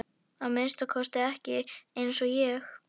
Að minnsta kosti ekki eins og ég.